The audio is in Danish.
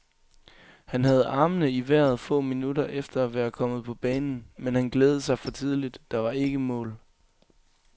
Han havde armene i vejret få minutter efter at være kommet på banen, men han glædede sig for tidligt, der var ikke mål.